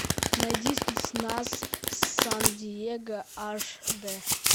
найди спецназ сан диего аш дэ